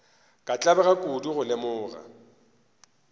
ka tlabega kudu go lemoga